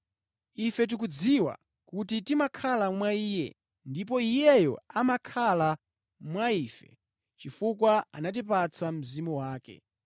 Ife tikudziwa kuti timakhala mwa Iye ndipo Iyeyo amakhala mwa ife chifukwa anatipatsa Mzimu wake.